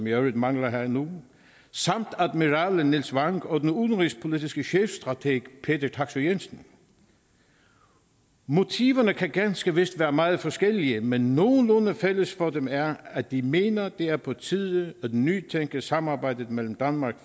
i øvrigt mangler her nu samt admiral nils wang og den udenrigspolitiske chefstrateg peter taksøe jensen motiverne kan ganske vist være meget forskellige men nogenlunde fælles for dem er at de mener det er på tide at nytænke samarbejdet mellem danmark